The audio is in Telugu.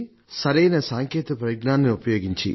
సరైన సాంకేతిక పరిజ్ఞానాన్ని ఉపయోగించి